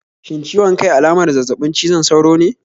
Shin ciwon kai alamar zazzabin cizon sauro ne?